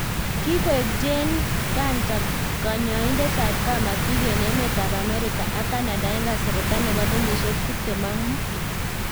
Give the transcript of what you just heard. Kikoek Jen Gunter, kanyoindet ab kamatik en emete ab America ak Canada en kasarta nebo kenyisiek tiptem ak muut